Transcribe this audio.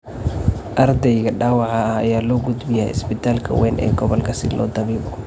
Ardayga dhaawaca ah ayaa loo gudbiyay isbitaalka weyn ee gobolka si loogu dabiibo.